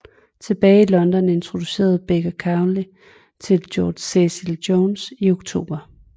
Tilbage i London introducerede Baker Crowley til George Cecil Jones i oktober